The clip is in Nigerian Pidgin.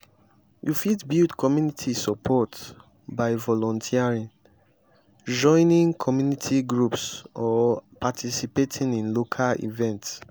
you fit build community support by volunteering joining community groups or participating in local events.